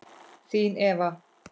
Þín Eva.